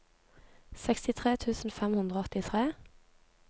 sekstitre tusen fem hundre og åttitre